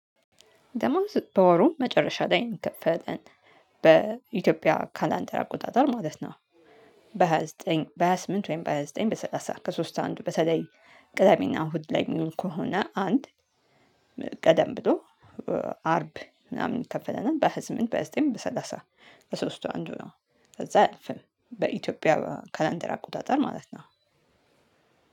ደሞዝ በወሩ መጨረሻ ላይ የሚከፈለን በኢትዮጵያ ካላንደር አቆጣጠር ማለት ነው። በሃያ ዘጠኝ በሃያ ስምንት ወይም በሃያ ዘጠኝ በሰላሳ ከሶስት አንዱ በተለይ ቅዳሜና እሁድ ላይ የሚሉ ከሆነ አንድ ቀደም ብሎ አርብ ምናምን ይከፈለናል በ ሃያ ስምንት በሃያ በዘጠኝ በሰላሳ በሶስቱ አንዱ ነው። ከዛ አያልፍም። በኢትዮጵያ ከላንደር አቆጣጠር ማለት ነው።